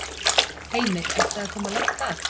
Heimir: Ertu að koma langt að?